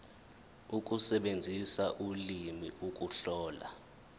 ukusebenzisa ulimi ukuhlola